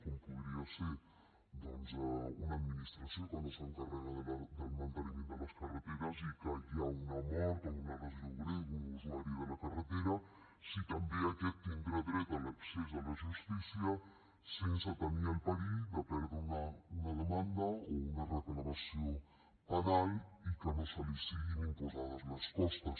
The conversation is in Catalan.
com podria ser doncs una administració que no s’encarrega del manteniment de les carreteres i que hi ha una mort o una lesió greu d’un usuari de la carretera si també aquest tindrà dret a l’accés a la justícia sense tenir el perill de perdre una demanda o una reclamació penal i que no li siguin imposades les costes